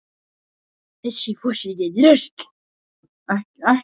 Þessi forseti er drasl!